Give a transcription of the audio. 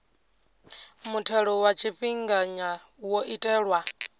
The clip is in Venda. muthelo wa tshifhinganya wo itelwa